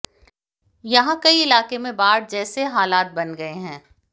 यहां कई इलाके में बाढ़ जैसे हालात बन गए हैं